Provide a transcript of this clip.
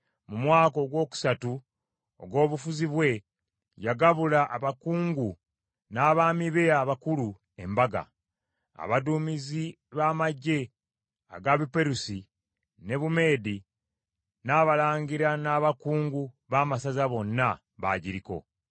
mu mwaka ogwokusatu ogw’obufuzi bwe, yagabula abakungu n’abaami be abakulu embaga. Abaduumizi ba magye aga Buperusi ne Bumeedi, n’abalangira n’abakungu b’amasaza bonna baagiriko.